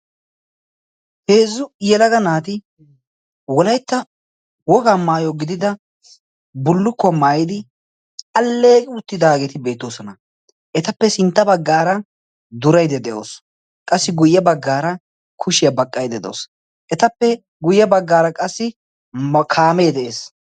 heezzu yelaga naati wolaytta woga maayo gidida bullukkuwaa maayidi alleegi uttidaageeti beettoosona etappe sintta baggaara durayde de'oosona qassi guyye baggaara kushiyaa baqqayde de'osu etappe guyye baggaara qassi kaamee de7ees